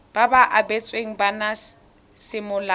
ba ba abetsweng bana semolao